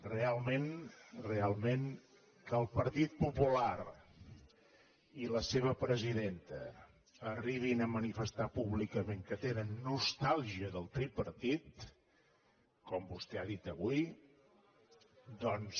realment realment que el partit popular i la seva presidenta arribin a manifestar públicament que tenen nostàlgia del tripartit com vostè ha dit avui doncs